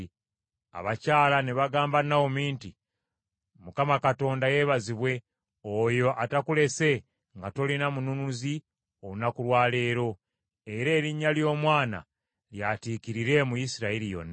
Abakyala ne bagamba Nawomi nti, “ Mukama Katonda yeebazibwe, oyo atakulese nga tolina mununuzi olunaku lwa leero. Era erinnya ly’omwana lyatiikirire mu Isirayiri yonna!